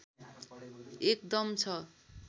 एकदम छ